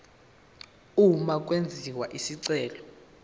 uma kwenziwa isicelo